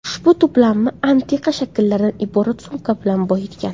Ushbu to‘plamni antiqa shakllardan iborat sumka bilan boyitgan.